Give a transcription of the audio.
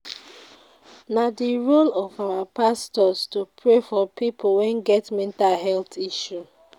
Na di role of our pastors to pray for pipo wey get mental health issue.